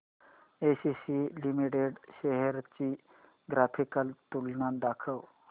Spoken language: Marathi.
एसीसी लिमिटेड शेअर्स ची ग्राफिकल तुलना दाखव